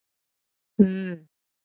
V